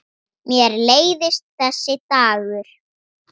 Mér leiðist þessi dagur.